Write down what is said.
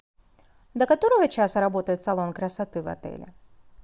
до которого часа работает салон красоты в отеле